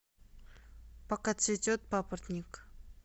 пока цветет папоротник